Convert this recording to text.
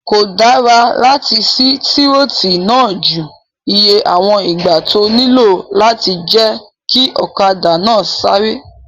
Kò dára láti sí tírótù náà ju iye àwọn ìgbà tó nílò lọ láti jẹ́ kí ọ̀kadà náà sáré